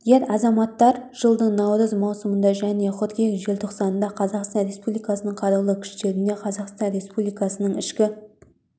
ер азаматтар жылдың наурыз маусымында және қыркүйек желтоқсанында қазақстан республикасының қарулы күштеріне қазақстан республикасының ішкі